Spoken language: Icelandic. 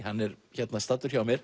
hann er hérna staddur hjá mér